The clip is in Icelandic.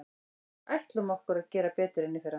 Við ætlum okkur að gera betur en í fyrra.